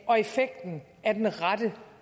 og effekten af den rette